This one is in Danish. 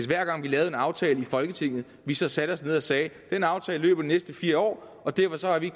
hver gang vi lavede en aftale i folketinget så satte vi os ned og sagde den aftale løber de næste fire år og derfor har vi